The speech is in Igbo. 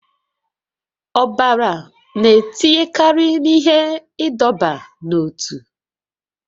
Ọbara na-etinyekarị n'ihe ịdọba n'ótú